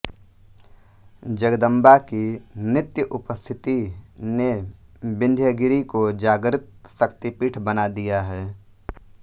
जगदम्बा की नित्य उपस्थिति ने विंध्यगिरिको जाग्रत शक्तिपीठ बना दिया है